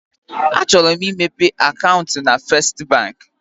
Achọrọ m imepe akaụntụ na Festị Bank.